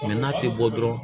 n'a tɛ bɔ dɔrɔn